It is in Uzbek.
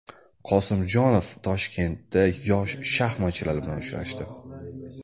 Qosimjonov Toshkentda yosh shaxmatchilar bilan uchrashdi.